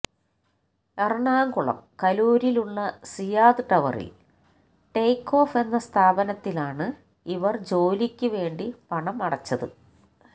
എറണാകുളം കലൂരിൽ ഉള്ള സിയാദ് ടവറിൽ ടേക്ക് ഓഫ് എന്ന സ്ഥാപനത്തിലാണ് ഇവർ ജോലിക്ക് വേണ്ടി പണം അടച്ചത്